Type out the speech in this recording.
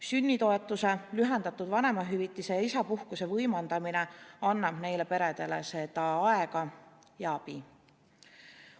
Sünnitoetuse, lühendatud vanemahüvitise ja isapuhkuse võimaldamine annab neile peredele seda aega ja abi.